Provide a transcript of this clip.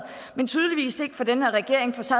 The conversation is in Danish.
men tydeligvis ikke for den her regering for så